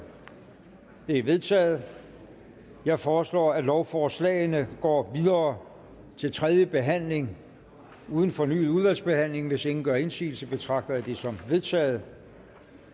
det er vedtaget jeg foreslår at lovforslagene går videre til tredje behandling uden fornyet udvalgsbehandling hvis ingen gør indsigelse betragter jeg det som vedtaget